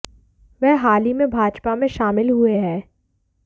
वह हाल ही में भाजपा में शामिल हुए हैं